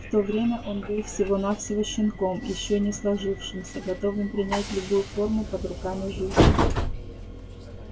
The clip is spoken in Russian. в то время он был всего навсего щенком ещё не сложившимся готовым принять любую форму под руками жизни